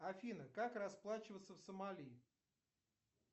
афина как расплачиваться в сомали